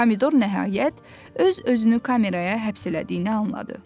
Pomidor nəhayət öz-özünü kameraya həbs elədiyini anladı.